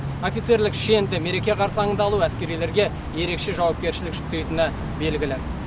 офицерлік шенді мереке қарсаңында алу әскерилерге ерекше жауапкершілік жүктейтіні белгілі